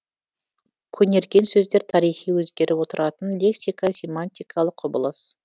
көнерген сөздер тарихи өзгеріп отыратын лексика семантикалық құбылыс